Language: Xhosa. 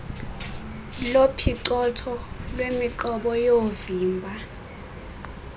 lophicotho lwemiqobo yoovimba